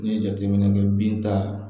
N'i ye jateminɛ kɛ binta